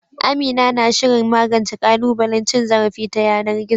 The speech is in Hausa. Amina na shirin magance ƙalubalen cin zarafi ta yanar gizo.